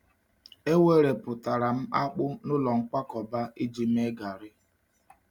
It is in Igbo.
E werepụtara m akpụ n’ụlọ nkwakọba iji mee gari.